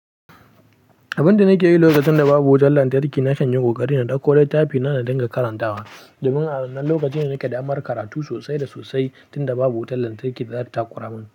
Abin da na ke yi lokacin da babu wutar lantarki na kan yin ƙoƙari na ɗauko littafi na da dinga karantawa. Domin a wannan lokaci ne nake damar karatu sosai da sosai tunda babu wutar lantarki da zata takuramin.